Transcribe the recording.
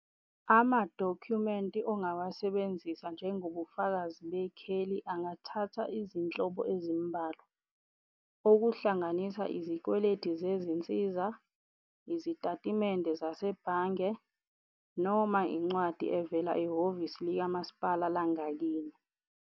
Ama-document ongawasebenzisa njengobufakazi bekheli angathatha izinhlobo ezimbalwa, okuhlanganisa izikweletu zezinsiza, izitatimende zasebhange, noma incwadi evela ehhovisi likamasipala langakini.